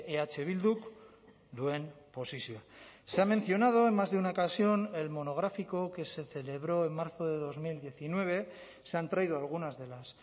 eh bilduk duen posizioa se ha mencionado en más de una ocasión el monográfico que se celebró en marzo de dos mil diecinueve se han traído algunas de las